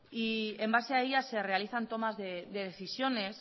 y en base a ellas se realizan tomas de decisiones